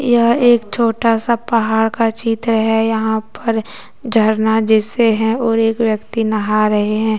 यह एक छोटा सा पहाड़ का चित्र है यहां पर झरना जैसे हैं और एक व्यक्ति नहा रहे है।